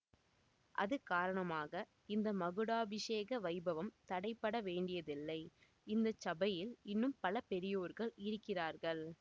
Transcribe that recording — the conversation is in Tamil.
அது காரணமாக இந்த மகுடாபிஷேக வைபவம் தடைப்பட வேண்டியதில்லை இந்த சபையில் இன்னும் பல பெரியோர்கள் இருக்கிறார்கள்